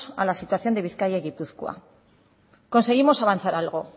a la situación de bizkaia y gipuzkoa conseguimos avanzar algo